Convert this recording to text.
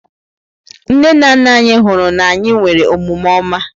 Nne na nna anyị hụrụ na anyị nwere omume ọma.